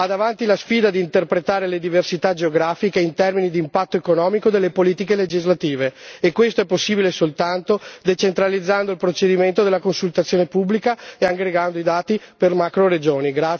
Ha davanti la sfida di interpretare le diversità geografiche in termini di impatto economico delle politiche legislative, e questo è possibile soltanto decentralizzando il procedimento della consultazione pubblica e aggregando i dati per macroregioni.